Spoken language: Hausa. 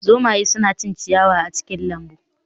Zomaye suna cin ciyawa a cikin lambu